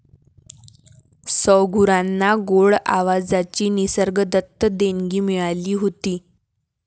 सौगुरांना गोड आवाजाची निसर्गदत्त देणगी मिळाली होती.